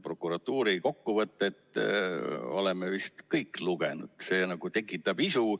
Prokuratuuri kokkuvõtet oleme vist kõik lugenud, see tekitab isu.